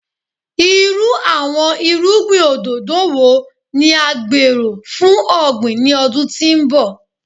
Iru awọn irugbin ododo wo ni a gbero fun ogbin ni ọdun ti n bọ?